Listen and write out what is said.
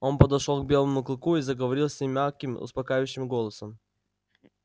он подошёл к белому клыку и заговорил с ним мягким успокаивающим голосом